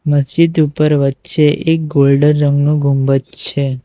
મસ્જિદ ઉપર વચ્ચે એક ગોલ્ડન રંગનો ગુંબજ છે.